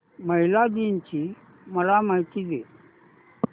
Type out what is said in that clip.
महिला दिन ची मला माहिती दे